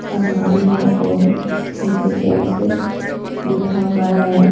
अलमारी है और नीचे टाइल्स है भीठा हुआ है।